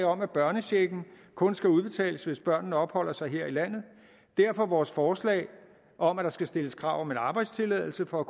om at børnechecken kun skal udbetales hvis børnene opholder sig her i landet derfor vores forslag om at der skal stilles krav om en arbejdstilladelse for at